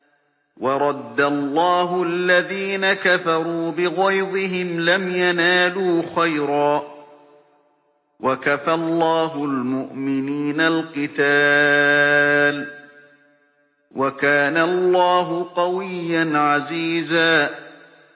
وَرَدَّ اللَّهُ الَّذِينَ كَفَرُوا بِغَيْظِهِمْ لَمْ يَنَالُوا خَيْرًا ۚ وَكَفَى اللَّهُ الْمُؤْمِنِينَ الْقِتَالَ ۚ وَكَانَ اللَّهُ قَوِيًّا عَزِيزًا